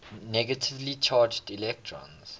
negatively charged electrons